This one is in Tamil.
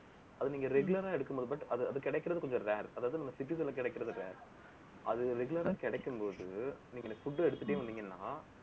அது நீங்க regular ஆ எடுக்கும்போது, but அது~அது கிடக்கிறது, கொஞ்சம் rare அதாவது, நம்ம city ல கிடக்கிறது rare அது regular ஆ கிடைக்கும் போது, நீங்க எனக்கு food எடுத்துட்டே வந்தீங்கன்னா